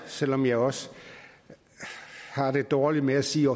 selv om jeg også har det dårligt med at sige